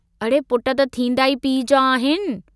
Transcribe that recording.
अड़े पुट त थींदा ई पीउ जा आहिनि।